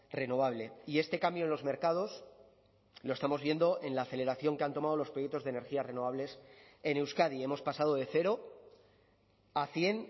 renovable y este cambio en los mercados lo estamos viendo en la aceleración que han tomado los proyectos de energías renovables en euskadi hemos pasado de cero a cien